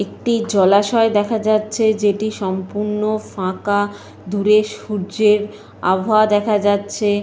একটি জলাশয় দেখা যাচ্ছে যেটি সম্পূর্ণ ফাঁকা। দূরে সূর্যের আবহাওয়া দেখা যাচ্ছে।